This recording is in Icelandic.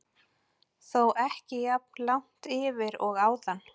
Þó ekki jafn langt yfir og áðan.